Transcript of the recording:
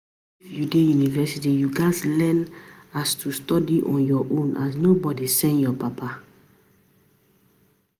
If u dey university, u ghas learn as to study on ur own as nobody send ur papa.